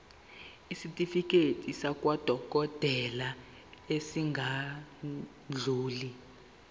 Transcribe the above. isitifiketi sakwadokodela esingadluli